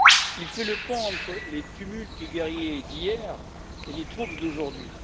Il fait le pont entre les tumultes guerriers d'hier et les troubles d'aujourd'hui.